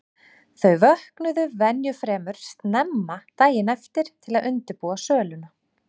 Þau vöknuðu venju fremur snemma daginn eftir til að undirbúa söluna.